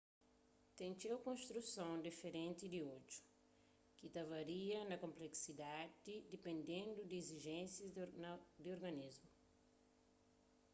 ten txeu konstruson diferenti di odju ki ta varia na konplesidadi dipendendu di izijénsias di organismu